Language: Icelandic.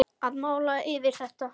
Að mála yfir þetta.